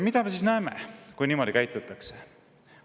Mida me näeme, kui niimoodi käitutakse?